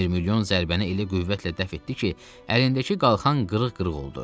Mirmilyon zərbəni elə qüvvətlə dəf etdi ki, əlindəki qalxan qırıq-qırıq oldu.